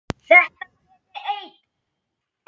Þetta peð er eitrað.